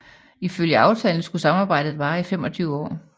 Ifølge aftalen skulle samarbejdet vare i 25 år